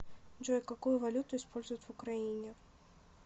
джой какую валюту используют в украине